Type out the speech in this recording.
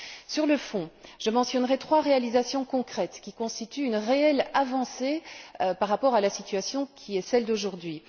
Sur le fond, je mentionnerai trois réalisations concrètes qui constituent une réelle avancée par rapport à la situation qui est celle d'aujourd'hui.